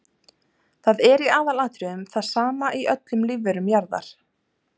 Það er í aðalatriðum það sama í öllum lífverum jarðar.